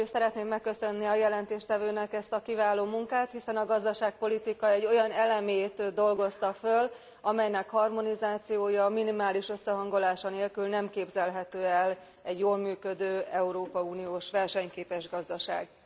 Először is szeretném megköszönni a jelentéstevőnek ezt a kiváló munkát, hiszen a gazdaságpolitika egy olyan elemét dolgozta föl, amelynek harmonizációja, minimális összehangolása nélkül nem képzelhető el egy jól működő európai uniós versenyképes gazdaság.